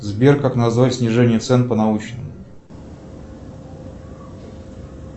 сбер как назвать снижение цен по научному